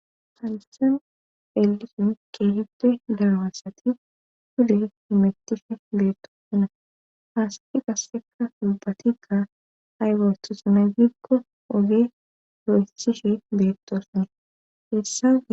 Halissan elisin keehippe darmasati hule himettishe beetto hona haasadi gasseka subatika aywer tusanazikko ogee ro7istishe beettoosone hessa